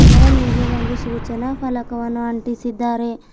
ಅದರ ಮೇಲೆ ಒಂದು ಸೂಚನಾ ಫಲಕವನ್ನು ಅಂಟಿಸಿದ್ದಾರೆ.